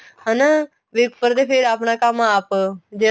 ਹਨਾ ਵੀ ਉਪਰ ਤੇ ਫੇਰ ਆਪਣਾ ਕੰਮ ਆਪ ਜੇ